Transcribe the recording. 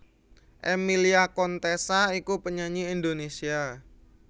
Emilia Contessa iku penyanyi Indonesia